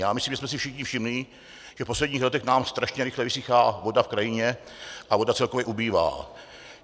Já myslím, že jsme si všichni všimli, že v posledních letech nám strašně rychle vysychá voda v krajině a voda celkově ubývá.